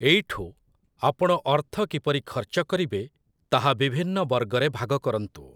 ଏଇଠୁ, ଆପଣ ଅର୍ଥ କିପରି ଖର୍ଚ୍ଚ କରିବେ, ତାହା ବିଭିନ୍ନ ବର୍ଗରେ ଭାଗ କରନ୍ତୁ ।